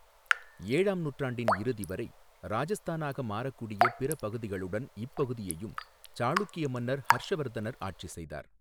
ஏழாம் நூற்றாண்டின் இறுதி வரை, ராஜஸ்தானாக மாறக்கூடிய பிற பகுதிகளுடன் இப்பகுதியையும் சாளுக்கிய மன்னர் ஹர்ஷ்வர்தனர் ஆட்சி செய்தார்.